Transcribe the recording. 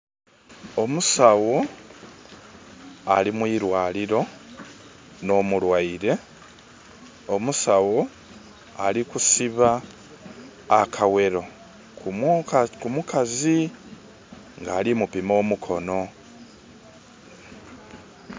Omusaawo ali mwiraliro no mulwaire. Omusaawo ali kusiba akawero ku mukazi nga ali mupima omukono.